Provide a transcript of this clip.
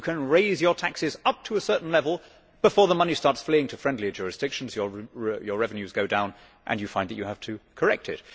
You can raise your taxes up to a certain level before the money starts fleeing to friendlier jurisdictions, your revenues go down and you find that you have to correct it.